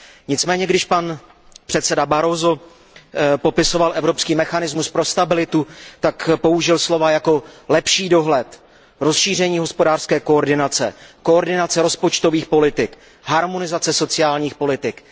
Nicméně když předseda Barroso popisoval evropský mechanismus pro stabilitu, tak použil slova jako lepší dohled, rozšíření hospodářské koordinace, koordinace rozpočtových politik, harmonizace sociálních politik.